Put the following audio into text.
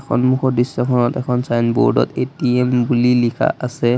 সন্মুখৰ দৃশ্যখনত এখন ছাইনবোৰ্ড ত এ_টি_এম বুলি লিখা আছে।